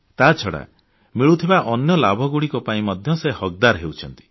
ତାଛଡ଼ା ମିଳୁଥିବା ଅନ୍ୟ ଲାଭଗୁଡ଼ିକ ପାଇଁ ମଧ୍ୟ ସେ ହକଦାର ହେଉଛନ୍ତି